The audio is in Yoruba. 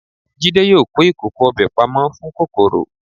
Jídé yóò kó ìkòkò ọbẹ̀ pamọ́ fún kòkòrò.